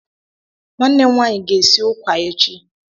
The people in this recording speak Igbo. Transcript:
nwannem nwaayi ga-esi ụkwà echi.